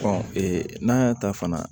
n'a y'a ta fana